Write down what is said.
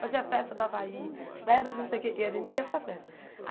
Fazia a festa do Havaí, festa de não sei o que, e a gente ia para as festas.